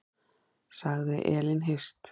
Sagði Elín Hirst.